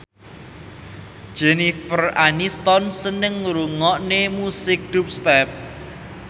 Jennifer Aniston seneng ngrungokne musik dubstep